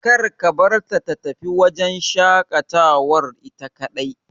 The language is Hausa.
Kar ka barta ta tafi wajen shaƙatawar ita kaɗai.